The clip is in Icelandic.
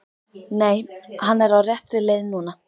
Nei, hann er á réttri leið núna.